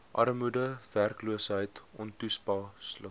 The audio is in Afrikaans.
armoede werkloosheid ontoepaslike